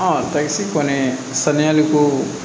takisi kɔni saniyali ko